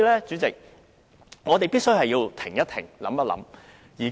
主席，我們必須停一停、想一想。